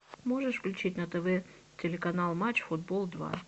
можешь включить на тв телеканал матч футбол два